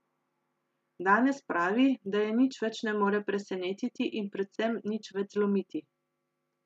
Danes pravi, da je nič več ne more presenetiti in predvsem nič več zlomiti.